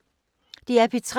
DR P3